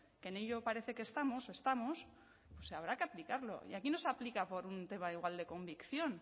que en ello parece que estamos habrá que aplicarlo y aquí no se aplica por un tema igual de convicción